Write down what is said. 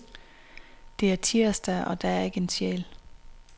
Det er tirsdag og der er ikke en sjæl.